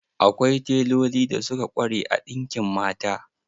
Akwai teloli da suka ƙware a ɗinkin mata.